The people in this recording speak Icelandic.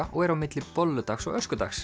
og er á milli bolludags og